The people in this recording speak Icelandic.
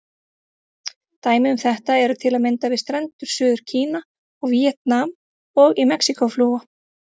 Dæmi um þetta eru til að mynda við strendur Suður-Kína og Víetnam, og í Mexíkó-flóa.